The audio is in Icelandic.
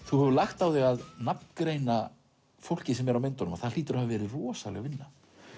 þú hefur lagt á þig að nafngreina fólkið á myndunum það hlýtur að hafa verið rosaleg vinna